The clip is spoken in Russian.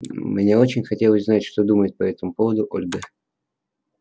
мне очень хотелось знать что думает по этому поводу ольга